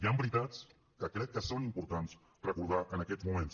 hi han veritats que crec que són importants de recordar en aquests moments